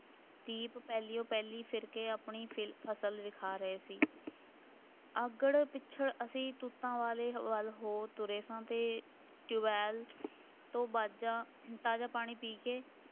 ਦੀਪ ਪਹਿਲੀਓ ਪਹਿਲੀ ਫਿਰ ਕੇ ਆਪਣੀ ਫਿ~ ਫਸਲ ਵੀ ਖਾ ਗਏ ਸੀ, ਅੱਗੜ ਪਿਛੜ ਅਸੀਂ ਤੂਤਾਂ ਵਾਲੇ ਵੱਲ ਹੋ ਤੁਰੇ ਸਾਂ ਅਤੇ ਟਿਊਬੈੱਲ ਤੋਂ ਬਾਜ਼ਾਂ ਤਾਜ਼ਾ ਪਾਣੀ ਪੀ ਕੇ,